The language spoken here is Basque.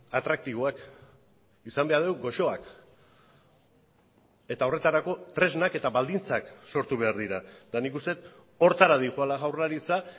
atraktiboak izan behar dugu goxoak eta horretarako tresnak eta baldintzak sortu behar dira eta nik uste dut horretara doala jaurlaritza